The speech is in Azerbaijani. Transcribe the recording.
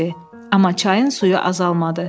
Amma çayın suyu azalmadı.